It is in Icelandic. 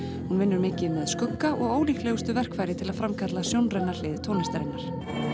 hún vinnur mikið með skugga og ólíklegustu til að framkalla sjónræna hlið tónlistarinnar